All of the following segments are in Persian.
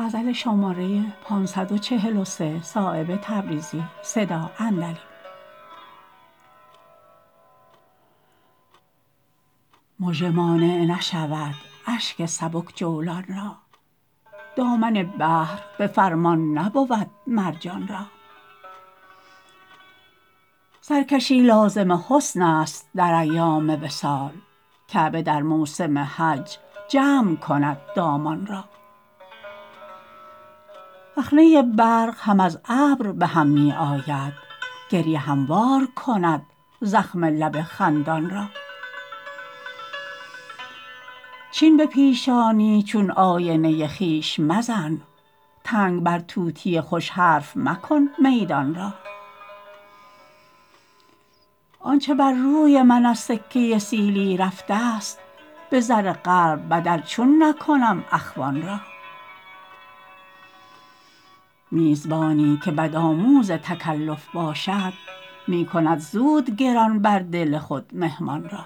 مژه مانع نشود اشک سبک جولان را دامن بحر به فرمان نبود مرجان را سرکشی لازم حسن است در ایام وصال کعبه در موسم حج جمع کند دامان را رخنه برق هم از ابر به هم می آید گریه هموار کند زخم لب خندان را چین به پیشانی چون آینه خویش مزن تنگ بر طوطی خوش حرف مکن میدان را آنچه بر روی من از سکه سیلی رفته است به زر قلب بدل چون نکنم اخوان را میزبانی که بدآموز تکلف باشد می کند زود گران بر دل خود مهمان را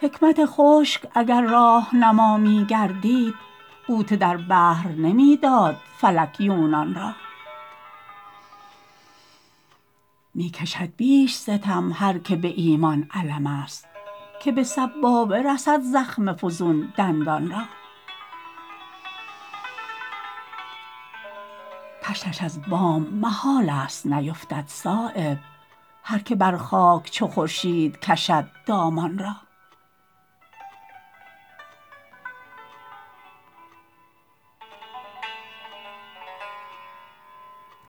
حکمت خشک اگر راهنما می گردید غوطه در بحر نمی داد فلک یونان را می کشد بیش ستم هر که به ایمان علم است که به سبابه رسد زخم فزون دندان را طشتش از بام محال است نیفتد صایب هر که بر خاک چو خورشید کشد دامان را